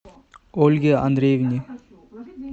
ольге андреевне